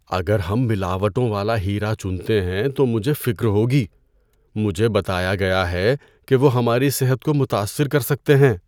اگر ہم ملاوٹوں والا ہیرا چنتے ہیں تو مجھے فکر ہوگی۔ مجھے بتایا گیا ہے کہ وہ ہماری صحت کو متاثر کر سکتے ہیں۔